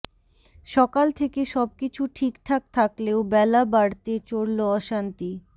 সকাল থেকে সবকিছু ঠিকঠাক থাকলেও বেলা বাড়তে চরল অশান্তি